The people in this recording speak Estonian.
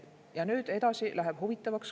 Ja nüüd edasi läheb huvitavaks.